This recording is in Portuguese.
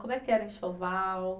Como é que era o enxoval?